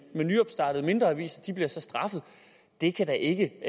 nyopstartede mindre aviser bliver straffet det kan da ikke